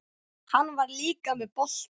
Hann var líka með bolta.